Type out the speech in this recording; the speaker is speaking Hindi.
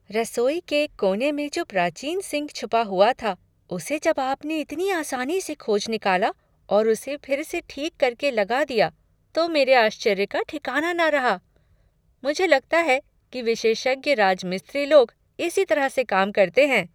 रसोई के एक कोने में जो प्राचीन सिंक छुपा हुआ था उसे जब आपने इतनी आसानी से खोज निकाला और उसे फिर से ठीक करके लगा दिया तो मेरे आश्चर्य का ठिकाना न रहा। मुझे लगता है कि विशेषज्ञ राजमिस्त्री लोग इसी तरह से काम करते हैं।